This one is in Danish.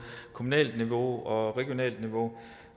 kommunalt niveau og regionalt niveau